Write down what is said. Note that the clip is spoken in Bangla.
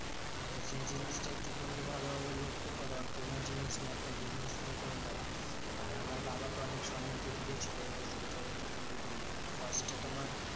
তো সেই জিনিসটা একটু তুমি ভালোভাবে লক্ষ্য করো। আর কোনো জিনিস নিয়ে একটা business শুরু করে দাও। আর আমার বাবা তো অনেক সম্মতি দিয়েছিলো এই biscuit এর এটা তৈরী করি যখন first এ তোমার